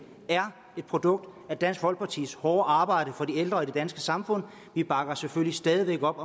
er et produkt af dansk folkepartis hårde arbejde for de ældre i det danske samfund og vi bakker selvfølgelig stadig væk op